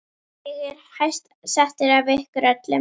Ég er hæst settur af ykkur öllum!